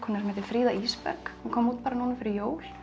sem heitir Fríða Ísberg hún kom út bara núna fyrir jól